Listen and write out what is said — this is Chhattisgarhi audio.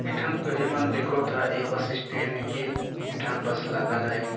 ईठन तुहि मन देखव त ये बस स्टेन